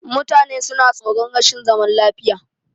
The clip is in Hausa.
Mutane suna tsoron rashin zaman lafiya.